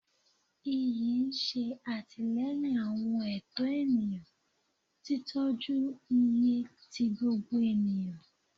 Iyi ṣe atilẹyin awọn ẹtọ eniyan, titọju iye ti gbogbo eniyan